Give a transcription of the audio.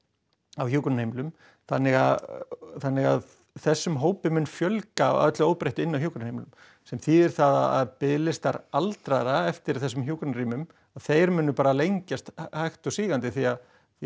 á hjúkrunarheimilum þannig að þannig að þessum hópi mun fjölga að öllu óbreyttu inni á hjúkrunarheimilum sem þýðir það að biðlistar aldraðra eftir þessum hjúkrunarrýmum þeir munu bara lengjast hægt og sígandi því að